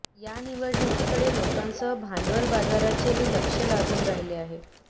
या निवडणुकीकडे लोकांसह भांडवल बाजाराचेही लक्ष लागून राहिले आहे